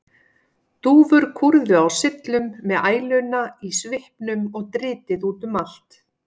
Dúfur kúrðu á syllum með æluna í svipnum og dritið út um allt.